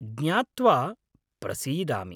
ज्ञात्वा प्रसीदामि।